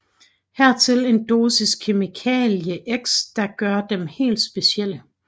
Hertil en dosis kemikalie X der gør dem helt specielle